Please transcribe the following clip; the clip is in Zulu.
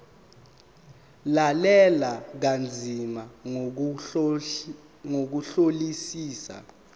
lalela kanzima ngokuhlolisisa